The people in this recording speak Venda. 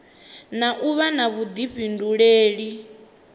na u vha na vhuḓifhinduleli